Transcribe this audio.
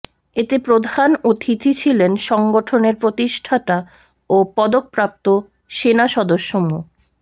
এতে প্রধান অতিথি ছিলেন সংগঠনের প্রতিষ্ঠাতা ও পদকপ্রাপ্ত সেনা সদস্য মো